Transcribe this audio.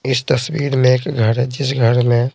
इस तस्वीर में एक घर है जिस घर में --